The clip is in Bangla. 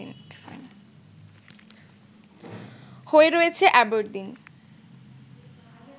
হয়ে রয়েছে অ্যাবরদিন